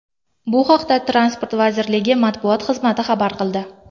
Bu haqda Transport vazirligi matbuot xizmati xabar qildi .